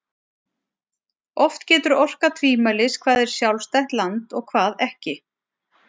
Oft getur orkað tvímælis hvað er sjálfstætt land og hvað ekki.